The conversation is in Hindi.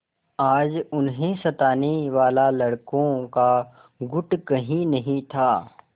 आज उन्हें सताने वाला लड़कों का गुट कहीं नहीं था